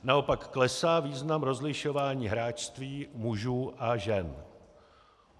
Naopak klesá význam rozlišování hráčství mužů a žen.